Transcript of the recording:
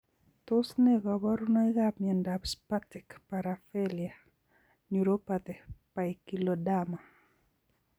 Tos ne kaborunoikap miondop spastic paraplegia neuropathy poikiloderma?